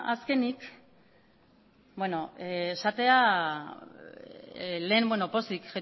azkenik esatea lehen pozik